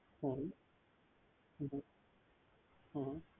হম